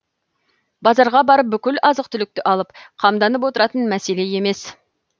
базарға барып бүкіл азық түлікті алып қамданып отыратын мәселе емес